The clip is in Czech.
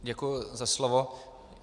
Děkuji za slovo.